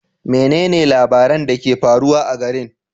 Menene labaran da ke faruwa a garin?